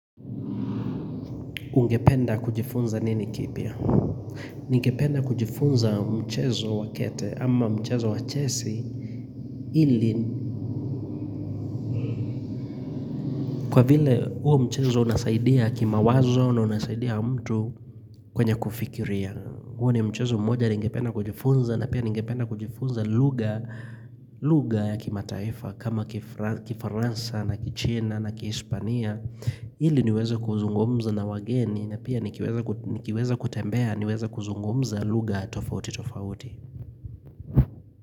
Ungependa kujifunza nini kipya? Ningependa kujifunza mchezo wakete ama mchezo wachesi ili kwa vile huo mchezo unasaidia kima wazo na unasaidia mtu kwenye kufikiria. Uo ni mchezo mmoja ungependa kujifunza na pia ungependa kujifunza luga luga ya kimataifa kama kifaransa na kichina na kishpania. Hili niweza kuzungumza na wageni na pia nikiweza kutembea niweze kuzungumza luga tofauti tofauti.